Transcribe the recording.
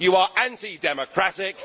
you are anti democratic